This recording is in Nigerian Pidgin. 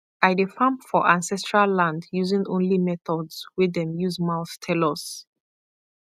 i dey farm for ancestral land using only methods wey dem use mouth tell us